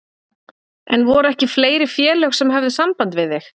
En voru ekki fleiri félög sem höfðu samband við þig?